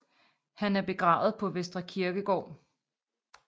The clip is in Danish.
Han er begravet på Vestre Kirkegård